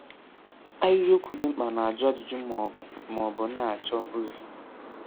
Ahịrịokwu dị mkpa na-ajụ ajụjụ ma ọ bụ ma ọ bụ na-achọ ozi.